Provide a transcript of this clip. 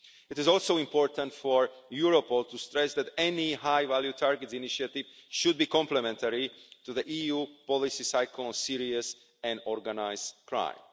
It is also important for Europol to stress that any high value targets initiative should be complementary to the EU policy cycle on serious and organised crime.